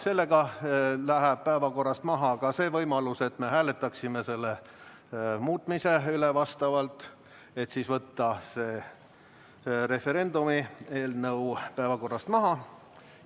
Sellega läheb maha ka see võimalus, et me hääletaksime selle üle, et võtta referendumi eelnõu päevakorrast välja.